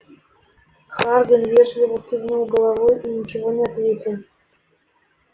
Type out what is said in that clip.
хардин вежливо кивнул головой и ничего не ответил